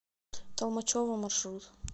толмачево маршрут